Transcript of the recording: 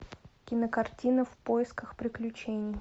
кинокартина в поисках приключений